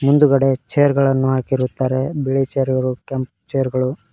ಇಂದುಗಡೆ chair ಗಳನ್ನು ಹಾಕಿರುತ್ತಾರೆ ಬಿಳಿ ಚೇರ್ ಗಳು ಕೆಂಪು ಚೇರ್ ಗಳು--